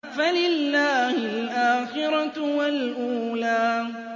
فَلِلَّهِ الْآخِرَةُ وَالْأُولَىٰ